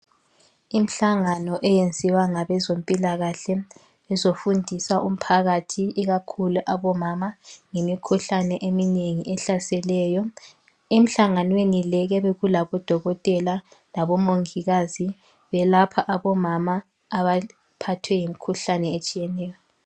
Imhlangano eyenziwa ngabezompilakahle bezofundisa umphakathi ikakhulu abomama ngemikhuhlane eminengi ehlaseleyo. Emhlanganweni le kuyabe kulabodokotela labomongikazi belapha abomama abaphethwe yimikhuhlane etshiyeneyo.